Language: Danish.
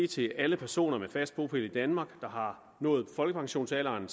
til alle personer med fast bopæl i danmark der har nået folkepensionsalderen